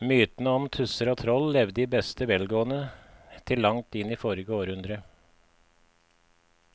Mytene om tusser og troll levde i beste velgående til langt inn i forrige århundre.